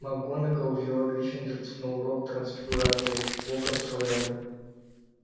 макгонагалл вела гриффиндорцев на урок трансфигурации локонс шёл рядом